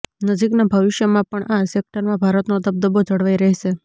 નજીકના ભવિષ્યમાં પણ આ સેક્ટરમાં ભારતનો દબદબો જળવાઈ રહેશે